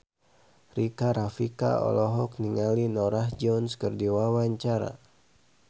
Rika Rafika olohok ningali Norah Jones keur diwawancara